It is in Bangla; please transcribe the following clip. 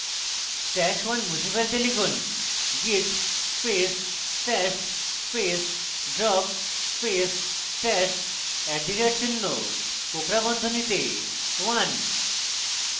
stash @{1} মুছে ফেলতে লিখুন: git space stash space drop space stash @চিহ্ন কোঁকড়া বন্ধনীতে 1